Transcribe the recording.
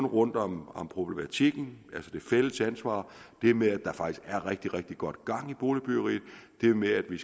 rundt om om problematikken det fælles ansvar det med at der faktisk er rigtig rigtig godt gang i boligbyggeriet det med at vi